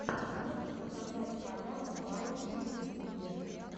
можешь показать толяна бай на ютьюбе